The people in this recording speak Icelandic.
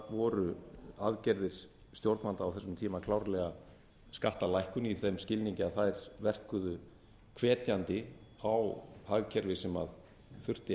voru aðgerðir stjórnvalda á þessum tíma klárlega skattalækkun í þeim skilningi að þær verkuðu hvetjandi á hagkerfi sem þurfti